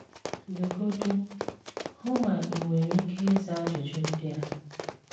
legodi, hụ má ị nwéré íké ízá ajụjụ ndị á